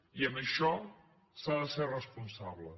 i en això s’ha de ser responsable